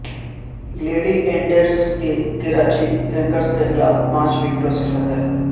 گلیڈی eaters کی Karachi Kings کے خلاف پانچ وکٹوں سے فتح